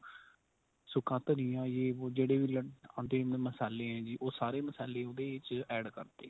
ਸੁੱਕਾ ਧਨੀਆ ਜੇ ਵੋ ਜਿਹੜੇ ਵੀ ਆਂਦੇ ਨੇ ਮਸਾਲੇ ਏ ਜੀ ਉਹ ਸਾਰੇ ਮਸਾਲੇ ਉਹਦੇ ਵਿੱਚ add ਕਰਤੇ